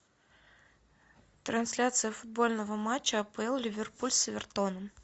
трансляция футбольного матча апл ливерпуль с эвертоном